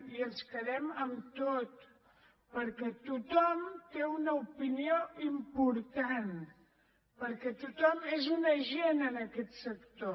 i ens quedem amb tot perquè tothom té una opinió important perquè tothom és un agent en aquest sector